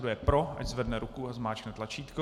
Kdo je pro, ať zvedne ruku a zmáčkne tlačítko.